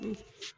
Unhun